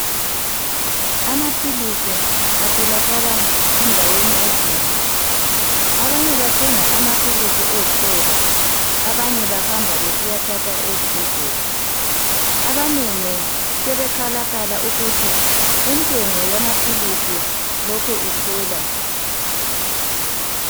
Amaphilisi atholakala endaweni ezinengi. Abanye bathenga amaphilisi ezitolo. Abanye bahamba besiyathatha ezibhedlela. Abanengi sebekhalakhala, ukuthi intengo yamaphilisi, lokhe ikhwela.